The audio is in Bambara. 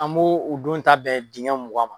An b'o ,o don ta bɛn dingɛ mugan ma.